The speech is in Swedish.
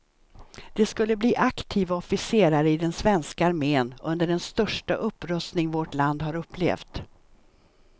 De skulle bli aktiva officerare i den svenska armen under den största upprustning vårt land har upplevt.